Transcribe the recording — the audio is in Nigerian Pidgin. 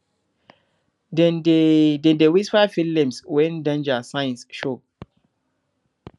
dem dey dem dey whisper field names when danger signs show